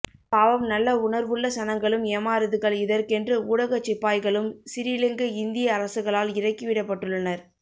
பாவம் நல்ல உணர்வுள்ள சனங்களும் ஏமாறுதுகள் இதற்கென்று ஊடகச் சிப்பாய்களும் சிறீலங்க இந்திய அரசுகளால் இறக்கி விடப்பட்டுள்ளனர்